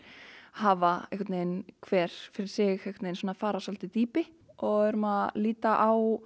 hafa einhvern veginn hver fyrir sig fara á svolítið dýpi og við erum að líta á